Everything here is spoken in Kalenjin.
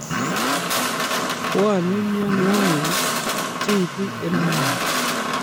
Bwone mienwokik che ibu EL Nino